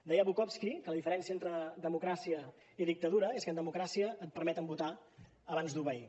deia bukowski que la diferència entre democràcia i dictadura és que en democràcia et permeten votar abans d’obeir